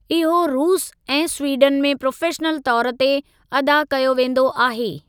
इहो रूस ऐं स्वीडन में प्रोफ़ेशनल तौर ते अदा कयो वेंदो आहे।